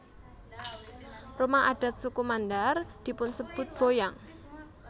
Rumah adat suku Mandar dipunsebut boyang